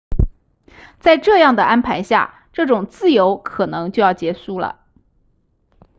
在这样的安排下这种自由可能就要结束了